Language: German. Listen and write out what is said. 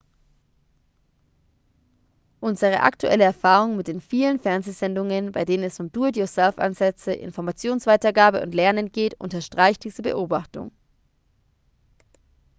unsere aktuelle erfahrung mit den vielen fernsehsendungen bei denen es um do-it-yourself-ansätze informationsweitergabe und lernen geht unterstreicht diese beobachtung